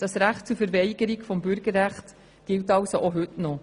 Das Recht auf Verweigerung des Bürgerrechts gilt auch heute noch.